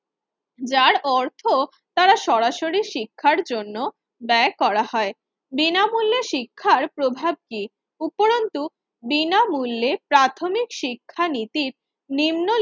যার অর্থ তারা সরাসরি শিক্ষার জন্য ব্যয় করা হয়। বিনামূল্যে শিক্ষার প্রভাব কি? উপরন্তু বিনামূল্যে প্রাথমিক শিক্ষা নীতির নিম্ন